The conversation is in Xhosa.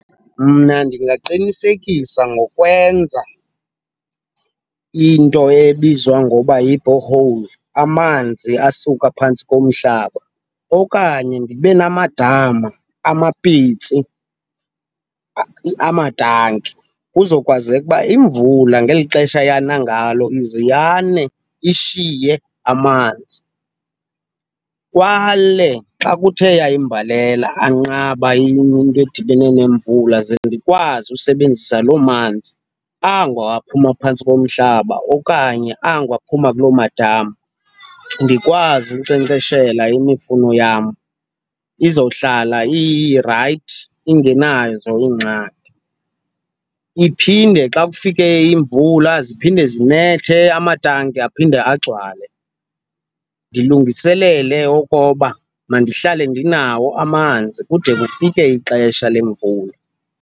Mna ndingaqinisekisa ngokwenza into ebizwa ngoba yi-borehole, amanzi asuka phantsi komhlaba. Okanye ndibe namadama, amapitsi, amatanki kuzokwazeka uba imvula ngeli xesha iyana ngalo ize yane ishiye amanzi. Kwale xa kuthe yayimbalela, anqaba into edibene nemvula ze ndikwazi usebenzisa loo manzi ango aphuma phantsi komhlaba okanye ango aphuma kuloo madama, ndikwazi unkcenkceshela imifuno yam izowuhlala irayithi, ingenazo iingxaki. Iphinde xa kufike imvula ziphinde zinethe, amatanki aphinde agcwale, ndilungiselele okoba mandihlale ndinawo amanzi kude kufike ixesha lemvula.